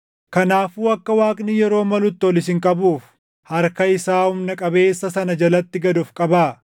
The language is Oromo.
Kanaafuu akka Waaqni yeroo malutti ol isin qabuuf, harka isaa humna qabeessa sana jalatti gad of qabaa.